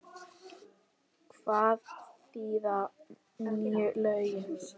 Hvað þýða nýju lögin?